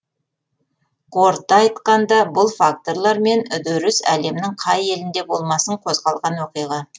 қорыта айтқанда бұл факторлар мен үдеріс әлемнің қай елінде болмасын қозғалған оқиға